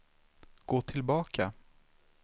gå tillbaka